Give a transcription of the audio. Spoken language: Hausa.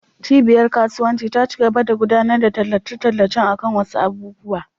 Cibiyar kasuwanci ta cigaba da gudanar da tallace-tallacen akan wasu abubuwa.